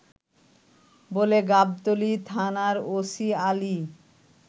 বলে গাবতলী থানার ওসি আলী